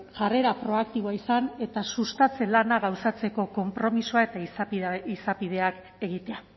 jarrera proaktiboa izan eta sustatze lana gauzatzeko konpromisoa eta izapideak egitea